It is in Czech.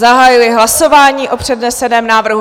Zahajuji hlasování o předneseném návrhu.